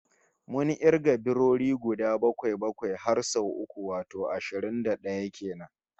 Mun kirga biroyi guda bakwai-bakwai har sau uku, wato ashirin da d'aya kenan